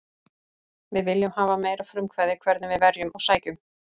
Við viljum hafa meira frumkvæði hvernig við verjum og sækjum.